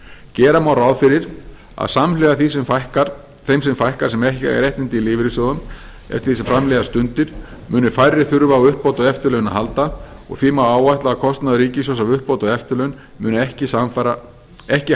gera má ráð fyrir að samhliða því sem þeim fækkar sem ekki eiga réttindi í lífeyrissjóðum eftir því sem fram líða stundir muni færri þurfa á uppbót á eftirlaun að halda og því má áætla að kostnaður ríkissjóðs af uppbót á eftirlaun muni ekki